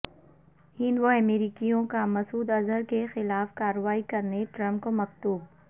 ہند و امریکیوں کا مسعود اظہر کیخلاف کارروائی کرنے ٹرمپ کو مکتوب